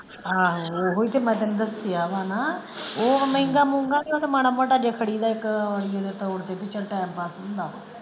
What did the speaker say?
ਆਹੋ ਓਹੋ ਹੀ ਤੇ ਮੈਂ ਤੈਨੂੰ ਦੱਸਿਆ ਵਾ ਨਾ ਉਹ ਮਹਿੰਗਾ ਮੁਹੰਗਾ ਨਹੀਂ ਉਹ ਤੇ ਮਾੜਾ ਮਾੜਾ ਜੇਹਾ ਖੜੀਦਾ ਇੱਕ ਦੇ ਤੋਰ ਤੇ ਬੀ ਚੱਲ time pass ਹੁੰਦਾ।